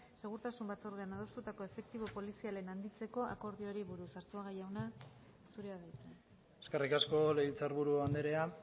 segurtasun batzordean adostutako efektibo polizialen handitzeko akordioari buruz arzuaga jauna zurea da hitza eskerrik asko legebiltzarburu andrea